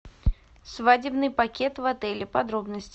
свадебный пакет в отеле подробности